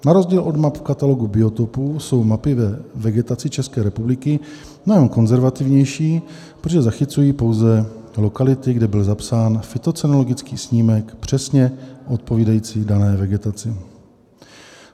Na rozdíl od map v Katalogu biotopů jsou mapy ve Vegetaci České republiky mnohem konzervativnější, protože zachycují pouze lokality, kde byl zapsán fytocenologický snímek přesně odpovídající dané vegetaci.